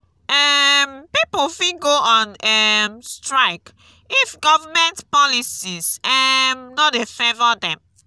um pipo fit go on um strike if government policies um no de favour dem